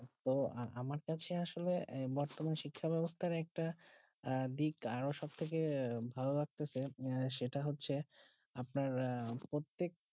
ও আমার কাছে আসলো বর্তমান শিক্ষা বেবস্তার একটা আহ দিক আরও সব থেকে ভালো লাগতেসে সেটা হচ্ছে আপনার প্রত্যেক